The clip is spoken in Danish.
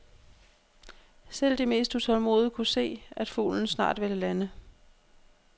Selv de mest utålmodige kunne se, at fuglen snart ville lande.